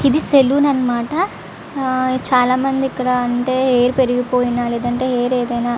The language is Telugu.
ఇది సలోన్ అన్నమాట ఆ ఈ చాలామంది ఇక్కడ అంటే హెయిర్ పెరిగిపోయినా లేదంటే హెయిర్ ఏదైనా --